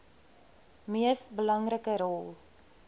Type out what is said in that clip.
mees belangrike rol